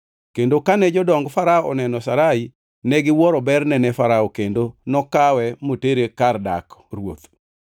Kendo kane jodong Farao oneno Sarai, negiwuoro berne ne Farao kendo nokawe motere kar dak ruoth.